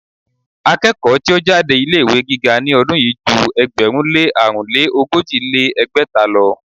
Akẹ́kọ̀ọ́ tí ó jáde ilé ìwé gíga ní ọdún yìí ju ẹgbẹ̀rún lé àrún lé ogójì lé ní ẹgbẹ́ta lọ.